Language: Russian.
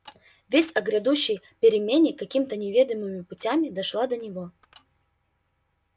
весть о грядущей перемене какими то неведомыми путями дошла до него